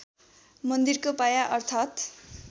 मन्दिरको बायाँ अर्थात्